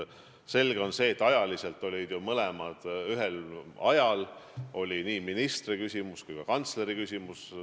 Selge on, et mõlemad küsimused kerkisid üles ühel ajal: ministri küsimus ja kantsleri küsimus.